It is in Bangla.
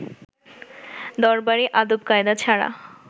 দরবারী আদব-কায়দা ছাড়া